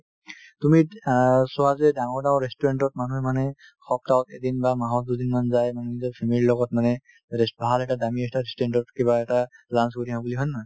তুমি অ চোৱা যে ডাঙৰ ডাঙৰ restaurant তত মানুহে মানে সপ্তাহ এদিন বা মাহত দুদিন মান যায় মানে নিজৰ family ৰ লগত মানে rest ভাল এটা দামী এটা restaurant তত কিবা এটা launch কৰি আহো বুলি হয় নে নহয়